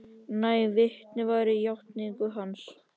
Næg vitni væru að játningu hans.